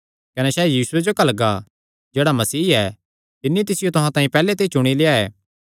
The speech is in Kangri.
कने सैह़ यीशुये जो घल्लगा जेह्ड़ा मसीह ऐ तिन्नी तिसियो तुहां तांई पैहल्ले ते चुणी लेआ ऐ